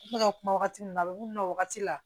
N bɛ ka kuma wagati min na a bɛ na wagati la